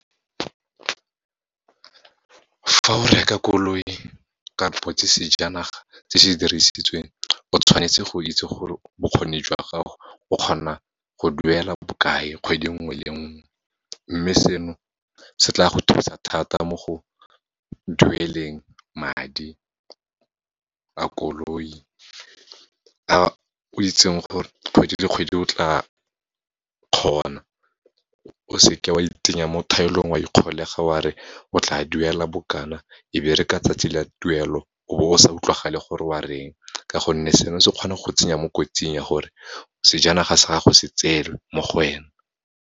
Fa o reka koloi kapo ke sejanaga se se dirisitsweng, o tshwanetse go itse gore bokgoni jwa gago, o kgona go duela bokae, kgwedi nngwe le nngwe. Mme seno, se tla go thusa thata mo go dueleng madi a koloi, a o itseng gore kgwedi le kgwedi o tla kgona, o seke o a itsenya mo thaelong, o a ikgolega wa re o tla duela bokana, e be re ka 'tsatsi la tuelo, o be o sa utlwalege gore o a reng, ka gonne seno se kgona go tsenya mo kotsing ya gore, sejanaga sa gago se tsewe mo go wena.